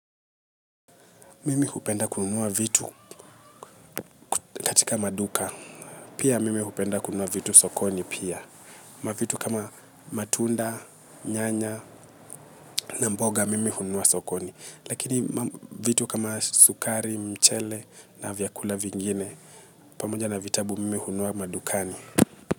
Mimi hupenda kunua vitu katika maduka pia mimi hupenda kunua vitu sokoni pia. Mavitu kama matunda, nyanya na mboga, mimi hununua sokoni. Lakini vitu kama sukari, mchele na vyakula vingine, pamoja na vitabu mimi hununua madukani.